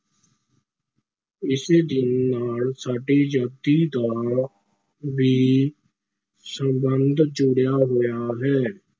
ਇਸੇ ਦਿਨ ਨਾਲ ਸਾਡੀ ਆਜ਼ਾਦੀ ਦਾ ਵੀ ਸੰਬੰਧ ਜੁੜਿਆ ਹੋਇਆ ਹੈ।